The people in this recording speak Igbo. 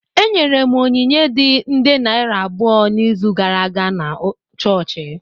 Enyere m onyinye dị nde naira abụọ n’izu gara aga na chọọchị